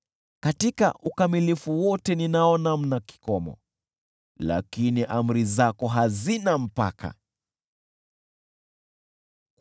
Katika ukamilifu wote ninaona mna kikomo, lakini amri zako hazina mpaka.